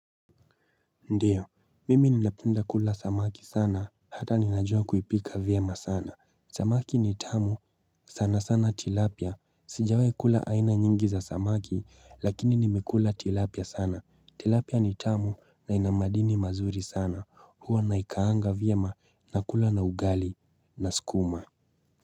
Ndiyo mimi ninapinda kula samaki sana hata ninajua kuipika vyema sana Samaki nitamu sana sana tilapia sijawai kula aina nyingi za samaki lakini nimekula tilapia sana Tilapia ni tamu na inamadini mazuri sana huwa naikaanga vyema na kula na ugali na sukuma.